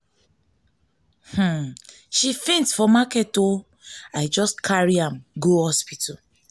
she faint for market faint for market o i just carry am go hospital.